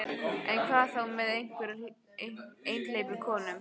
En hvað þá með einhleypar konur?